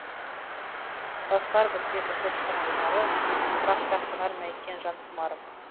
басылар бірте бірте тән құмары бірақ та қанар ма екен жан құмарым